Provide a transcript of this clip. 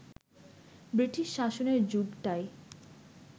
British শাসনের যুগটাই